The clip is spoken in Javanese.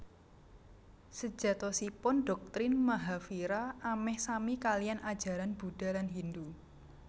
Sejatosipun doktrin Mahavira ameh sami kaliyan ajaran Budha lan Hindu